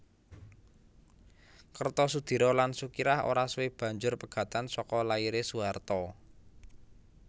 Kertosudiro lan Sukirah ora suwe banjur pegatan saka lairé Soeharto